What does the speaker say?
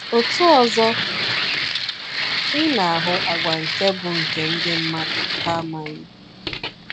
Otu ọzọ, ị na-ahụ àgwà nke bụ nke ndị mmadụ ha amaghị?